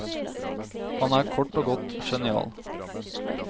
Han er kort og godt genial.